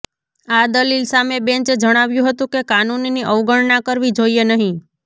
આ દલીલ સામે બેંચે જણાવ્યું હતું કે કાનૂનની અવગણના કરવી જોઈએ નહીં